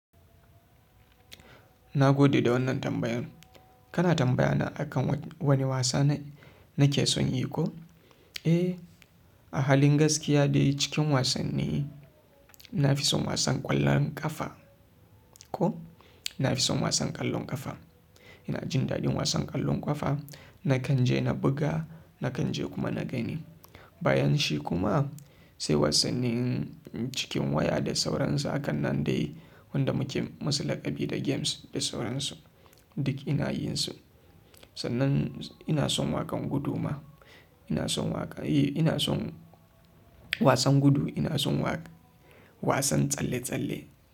Na gode da wannan tambayan. Kana tambaya na akan wani wasa nake son yi ko? Eh, a halin gaskiya dai cikin wasanni na fi son wasan ƙwallon ƙafa ko na fi son wasan ƙwallon ƙafa. Ina jin daɗin wasan ƙwallon ƙafa. Nakan je na buga, nakan je kuma na gani. Bayan shi kuma sai wasannin cikin waya da sauransu. Akan nan dai wanda muke musu laƙabi da games da sauransu. Duk ina yin su. Sannan ina son waƙan gudu ma. Ina son waƙa. Eh, ina son wasan gudu. Ina son wasan tsalle-tsalle.